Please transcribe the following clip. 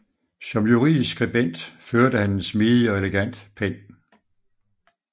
Som juridisk skribent førte han en smidig og elegant pen